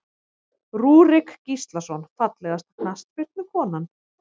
Rúrik Gíslason Fallegasta knattspyrnukonan?